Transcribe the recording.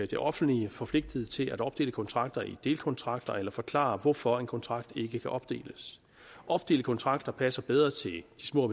det offentlige forpligtet til at opdele kontrakter i delkontrakter eller forklare hvorfor en kontrakt ikke kan opdeles opdelte kontrakter passer bedre til de små